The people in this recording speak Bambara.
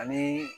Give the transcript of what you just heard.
Ani